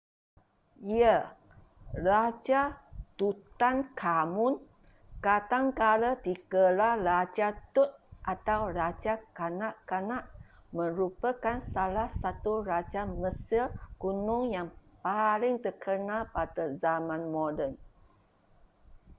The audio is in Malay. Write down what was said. ya raja tutankhamun kadangkala digelar raja tut atau raja kanak-kanak merupakan salah satu raja mesir kuno yang paling terkenal pada zaman moden